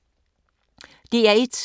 DR1